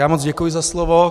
Já moc děkuji za slovo.